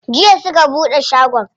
Jiya suka buɗe shagon?